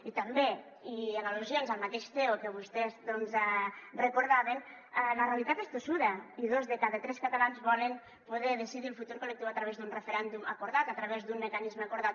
i també i en al·lusions al mateix ceo que vostès doncs recordaven la realitat és tossuda i dos de cada tres catalans volen poder decidir el futur col·lectiu a través d’un referèndum acordat a través d’un mecanisme acordat